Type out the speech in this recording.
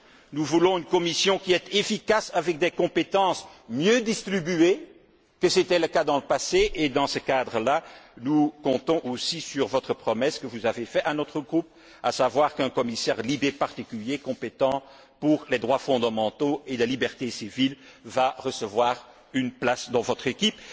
Nous voulons une Commission qui est efficace, avec des compétences mieux distribuées que ce n'était le cas dans le passé et, dans ce cadre là, nous comptons aussi sur la promesse que vous avez faite à notre groupe, à savoir qu'un commissaire LIBE particulier, compétent pour les droits fondamentaux et les libertés civiles, recevra une place dans votre équipe.